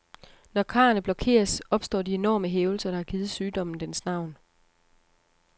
Når karrene blokeres, opstår de enorme hævelser, der har givet sygdommen dens navn.